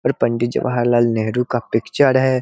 और पंडित जवाहर लाल नेहरू का पिक्चर है।